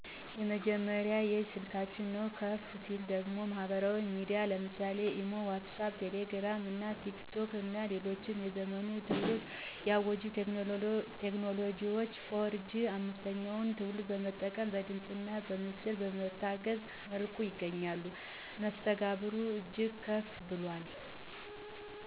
የመጀመሪያው የእጅ ስልካችን ነው። ከፍ ሲል ደግሞ ማህበራዊ ሚዲያዎች ለምሳሌ (ኢሞ ዋትስአፕ ቴሌግራም እና ቲክቶክ ) እና ሌሎችም የዘመኑን ትውልድ የዋጀ ቴክኖሎጂ 4 ጂ 5ተኛውን ትውልድ በመጠቀም በድምፅእና በምስል በታገዘ መልኩ ይገናኛሉ። መስተጋብሩ እጅግ ከፍ ብሏል